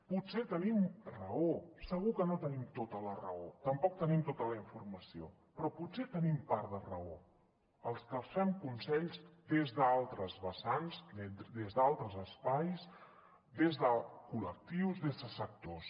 potser tenim raó segur que no tenim tota la raó tampoc tenim tota la informació però potser tenim part de raó els que els fem consells des d’altres vessants des d’altres espais des de col·lectius des de sectors